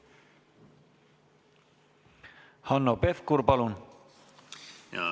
Hanno Pevkur, palun!